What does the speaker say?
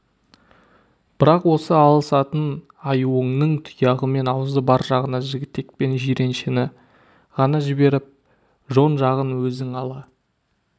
бірақ осы алысатын аюыңның тұяғы мен аузы бар жағына жігітек пен жиреншені ғана жіберіп жон жағын өзің ала